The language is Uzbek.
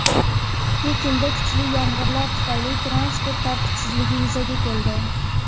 Pekinda kuchli yomg‘irlar tufayli transport tartibsizligi yuzaga keldi.